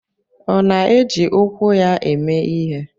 Ọ na-eji ụkwụ ya eme ihe?